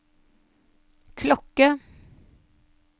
klokke